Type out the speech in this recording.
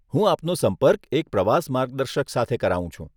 હું આપનો સંપર્ક એક પ્રવાસ માર્ગદર્શક સાથે કરાવું છું.